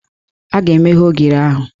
A ga-emeghe ogiri ahụ